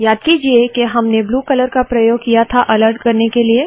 याद कीजिये के हमने ब्लू कलर का प्रयोग किया था अलर्ट करने के लिए